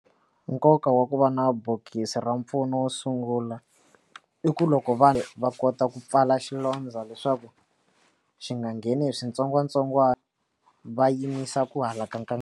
Nkoka wa ku va na bokisi ra mpfuno wo sungula i ku loko vanhu va kota ku pfala xilondza leswaku xi nga ngheni hi switsongwatsongwana va yimisa ku halaka.